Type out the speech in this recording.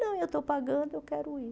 Não, eu estou pagando, eu quero ir.